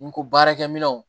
Ni ko baarakɛminɛnw